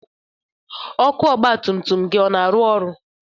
Ọkụ ọgba tum tum gị ọ na-arụ ọrụ?